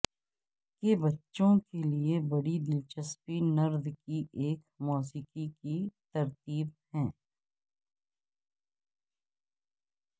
کے بچوں کے لئے بڑی دلچسپی نرد کی ایک موسیقی کی ترتیب ہے